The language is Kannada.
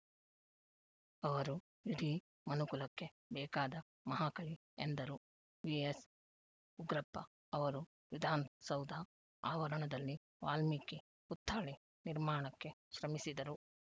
ಅವರು ಇಡೀ ಮನುಕುಲಕ್ಕೆ ಬೇಕಾದ ಮಹಾಕವಿ ಎಂದರು ವಿಎಸ್‌ ಉಗ್ರಪ್ಪ ಅವರು ವಿಧಾನಸೌಧ ಆವರಣದಲ್ಲಿ ವಾಲ್ಮೀಕಿ ಪುತ್ಥಳಿ ನಿರ್ಮಾಣಕ್ಕೆ ಶ್ರಮಿಸಿದರು